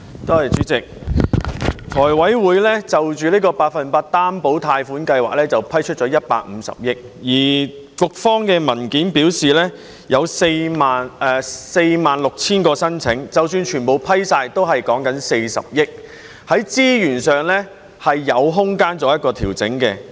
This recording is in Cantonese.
主席，財務委員會就百分百擔保個人特惠貸款計劃批出150億元，而局方的文件表示，有46000宗申請，即使全部批出，也只不過是40億元，在資源上是有空間可以作出調整的。